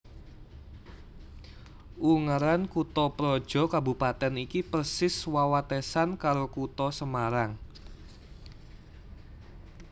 Ungaran kuthaprojo kabupatèn iki persis wewatesan karo Kutha Semarang